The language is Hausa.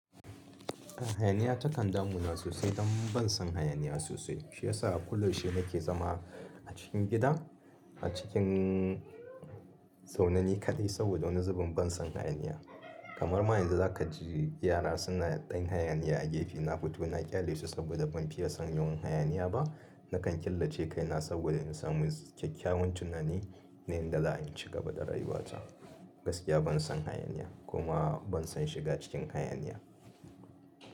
Hayaniya ta kandamu na sosai don ban son hayaniya sosai. Shi yasa a kulo she nake zama a cikin gida a cikin tsaune ni kaɗai saboda wani zubin ban son hayaniya. Kamar ma yanzu za ka ji yara suna ɗan hayaniya a gefe na futu na ƙyale su saboda ban fiye son hayaniya ba. Naka killace kaina domin in samu kyakykyawon tunani na yanda za ai in cigaba da rayuwata gaskiya ban san hayaniya kuma ban san shiga cikin hayaniya.